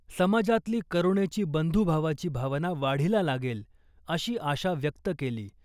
समाजातली करूणेची बंधुभावाची भावना वाढीला लागेल , अशी आशा व्यक्त केली .